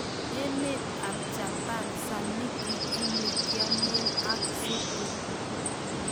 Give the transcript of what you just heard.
Emet ap japan, samiki ini ykiamen ak supu